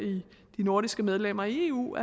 nordiske medlemmer af eu